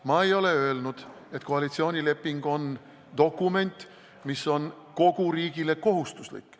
Ma ei ole öelnud, et koalitsioonileping on dokument, mis on kogu riigile kohustuslik.